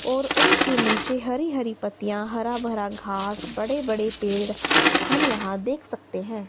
और उनके नीचे हरी हरी पत्तियां हरा भरा घास बड़े बड़े पेड़ हम यहां देख सकते हैं।